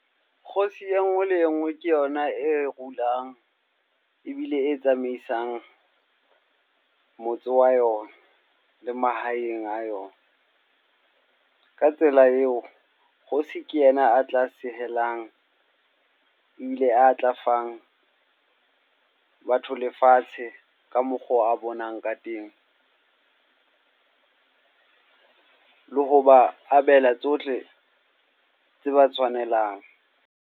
Kgosi e nngwe le e nngwe ke yona e rule-ang ebile e tsamaisang motse wa yona le mahaeng a yona. Ka tsela eo, kgosi ke yena a tla sehelang ebile a tla fang batho lefatshe ka mokgo a bonang ka teng. Le hoba abela tsohle tse ba tshwanelang.